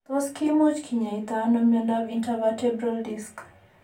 Tos kimuch kinyaita ano miondap intervertebral disc?